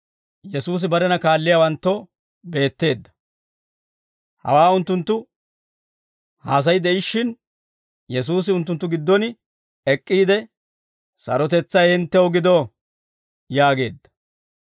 Hawaa unttunttu haasay de'ishshin, Yesuusi unttunttu giddon ek'k'iide, «Sarotetsay hinttew gido» yaageedda.